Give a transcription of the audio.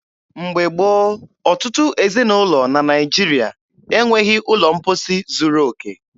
Mgbe gboo, ọtụtụ ezinụlọ na Naijiria e nweghị ụlọ mposi zuru okè.